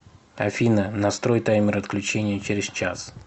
афина настрой таймер отключения через час